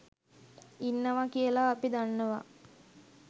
ඉන්නවා කියලා අපි දන්නවා